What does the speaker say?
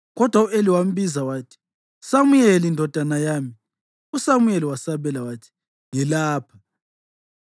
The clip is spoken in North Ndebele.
kodwa u-Eli wambiza wathi, “Samuyeli, ndodana yami.” USamuyeli wasabela wathi, “Ngilapha.”